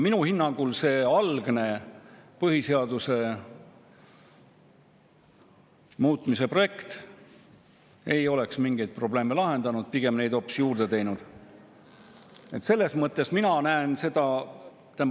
Minu hinnangul see algne põhiseaduse muutmise projekt ei oleks mingeid probleeme lahendanud, pigem neid hoopis juurde tekitanud.